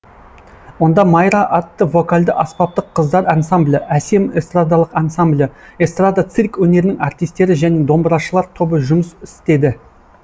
онда майра атты вокальды аспаптық қыздар ансамблі әсем эстрадалық ансамблі эстрада цирк өнерінің артистері және домбырашылар тобы жұмыс істеді